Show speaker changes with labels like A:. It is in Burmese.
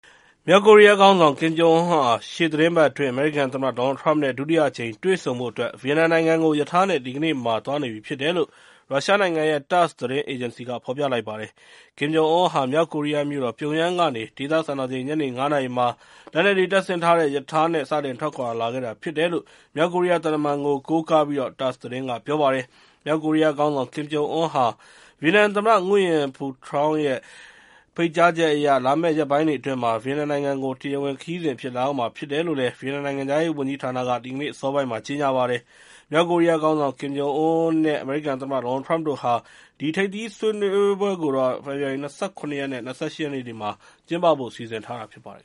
A: မြောက်ကိုရီးယားခေါင်းဆောင် ကင်ဂျုံအွန်းဟာ ရှေ့သီတင်းပတ်အတွင်း အမေရိကန်သမ္မတ ဒေါ်နယ်လ် ထရမ့် နဲ့ ဒုတိယအကြိမ် တွေ့ဆုံဖို့အတွက် ဗီယက်နမ်နိုင်ငံကို ရထားနဲ့ ဒီကနေ့မှာ သွားနေပြီလို့ ရုရှားနိုင်ငံရဲ့ TASS သတင်းအေဂျင်စီက ဖော်ပြလိုက်ပါတယ်။ ကင်ဂျုံအွန်းဟာ မြောက်ကိုရီးယားမြို့တော် ပြုံယမ်းကနေ ဒေသစံတော်ချိန် ညနေ ၅ နာရီမှာ လက်နက်တွေတပ်ဆင်ထားတဲ့ ရထားနဲ့ စတင် ထွက်ခွာလာခဲ့တာဖြစ်တယ်လို့ မြောက်ကိုရီးယားသံတမန်တဦးကို ကိုးကားပြီး၊ TASS သတင်းက ပြောပါတယ်။ မြောက်ကိုရီးယားခေါင်းဆောင် ကင်ဂျုံအွန်းဟာ ဗီယက်နမ်သမ္မတ Nguyen Phu Trong ရဲ့ ဖိတ်ကြားချက်အရ၊ လာမယ့်ရက်ပိုင်းအတွင်းမှာ ဗီယက်နမ်နိုင်ငံကို တရားဝင်ခရီးစဉ်အဖြစ် လာရောက်မှာဖြစ်တယ်လို့ ဗီယက်နမ်နိုင်ငံခြားရေးဝန်ကြီးဌာနက ဒီကနေ့ အစောပိုင်းမှာ ကြေညာပါတယ်။ မြောက်ကိုရီးယားခေါင်းဆောင် ကင်ဂျုံအွန်းနဲ့ အမေရိကန်သမ္မတ ဒေါ်နယ်လ်ထရမ့်တို့ရဲ့ ထိပ်သီးဆွေးနွေးပွဲကိုတော့ ဖေဖော်ဝါရီ ၂၇ နဲ့ ၂၈ ရက်နေ့တွေမှာ ကျင်းပဖို့ စီစဉ်ထား
B: တာဖြစ်ပါတယ်